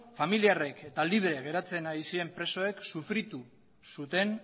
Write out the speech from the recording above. familiarrek eta libre geratzen ari ziren presoek sufritu zuten